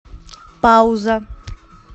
пауза